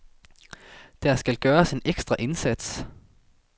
Der skal gøres en ekstra indsats.